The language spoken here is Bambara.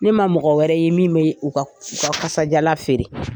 Ne ma mɔgɔ wɛrɛ ye min be u ka, u ka kasajalan feere.